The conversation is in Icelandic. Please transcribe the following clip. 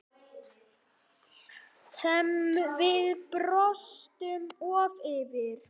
Sem við brostum oft yfir.